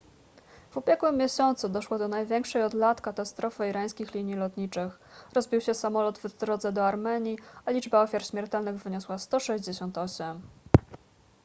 w ubiegłym miesiącu doszło do największej od lat katastrofy irańskich linii lotniczych rozbił się samolot w drodze do armenii a liczba ofiar śmiertelnych wyniosła 168